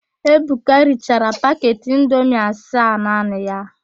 Ebuka richara paket indomi asaa naanị ya.